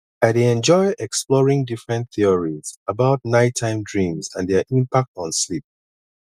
i dey enjoy exploring different theories about nighttime dreams and their impact on sleep